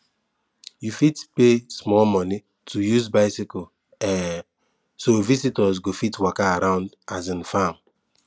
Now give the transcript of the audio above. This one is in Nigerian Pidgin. you fit pay small money take use bicycle um so visitors go fit waka round the um farm